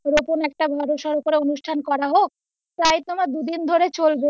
এরকম একটা বড় সড় করে অনুষ্ঠান করা হোক, প্রায় তোমার দুদিন ধরে চলবে